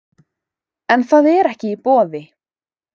En það er ekki í boði